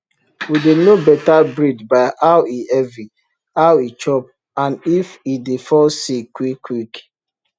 we dey know better breed by how e heavy how e chop and if e dey fall sick quick quick